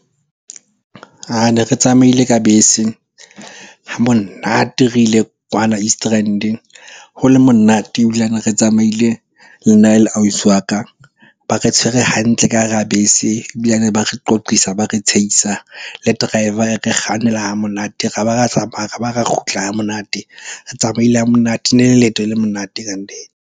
Ne re tsamaile ka bese ha monate re ile kwana Eastern Rand? ho le monate ebilane re tsamaile le ausi wa ka. Ba re tshwere hantle ka hara bese, ebilane ba re qoqisa, ba re tshehisa. Le driver e re kgannela ha.monate. Ra ba ra tsamaya, ra ba ra kgutla ha monate. Re tsamaile ha monate, ne le leeto le monate kannete.